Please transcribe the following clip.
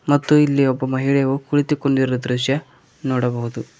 ಮತ್ತು ಇಲ್ಲಿ ಒಬ್ಬ ಮಹಿಳೆ ಕುಳಿತುಕೊಂಡಿರುವ ದೃಶ್ಯ ನೋಡಬಹುದು.